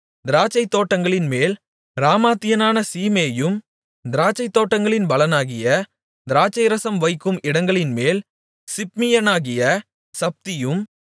திராட்சைத்தோட்டங்களின்மேல் ராமாத்தியனான சீமேயும் திராட்சைத்தோட்டங்களின் பலனாகிய திராட்சைரசம் வைக்கும் இடங்களின்மேல் சிப்மியனாகிய சப்தியும்